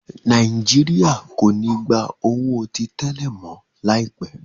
Nàìjíríà kò ní gbà owo tí tẹlẹ mọ. laipe.